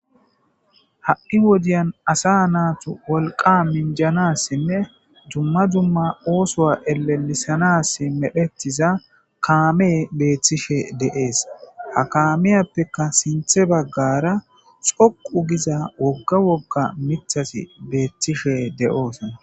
ha7i wodiyan asa naatu wolqa minjanassinne dumma dumma oosoa elelisanas medphetiza kaame beeththishe de7ees ha kaamiyappeka sinthe baggara xoqu giza wogga wogga mithas beeththishe de7oos